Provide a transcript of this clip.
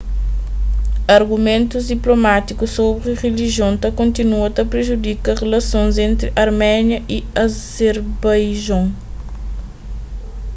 argumentus diplomátikus sobri rilijion ta kontinua ta prejudika rilasons entri arménia y azerbaijon